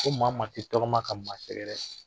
Ko maa maa k'i tɔgɔma ka maa sɛgɛrɛ,